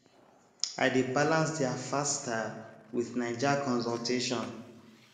i dey balance their fast style with naija consultation